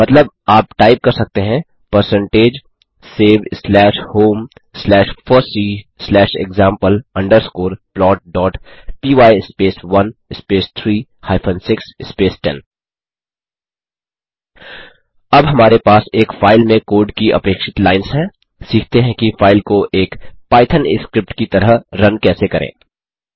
मतलब आप टाइप कर सकते हैं percentage save slash home slash fossee slash example underscore plot dot py space 1 space 3 hyphen 6 space 10 अब हमारे पास एक फाइल में कोड की अपेक्षित लाइंस हैं सीखते हैं कि फाइल को एक पाइथन स्क्रिप्ट की तरह रन कैसे करें